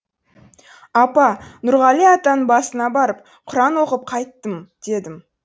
апа нұрғали атаның басына барып құран оқып қайттым дедім